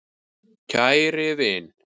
KÆRI vin.